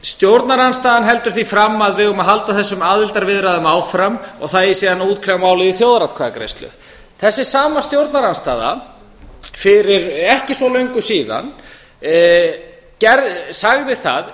stjórnarandstaðan heldur því fram að við eigum að halda þessum aðildarviðræðum áfram og það eigi síðan að útkljá málið í þjóðaratkvæðagreiðslu þessi sama stjórnarandstaða fyrir ekki svo löngu síðan sagði það